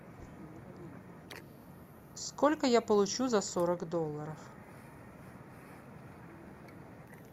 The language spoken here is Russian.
сколько я получу за сорок долларов